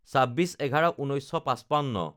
২৬/১১/১৯৫৫